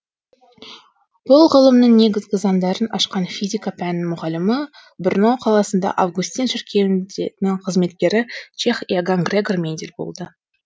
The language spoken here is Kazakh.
бұл ғылымның негізгі заңдарын ашқан физика пәнінің мұғалімі брно қаласындағы августин шіркеуінде қызметкері чех иоганн грегор мендель болды